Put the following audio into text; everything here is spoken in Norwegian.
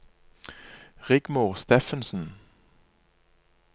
Rigmor Steffensen